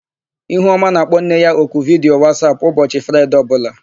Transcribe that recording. Ihuọma na-akpọ nne ya n'oku vidiyo Wasap ụbọchị Fraịde ọbụla.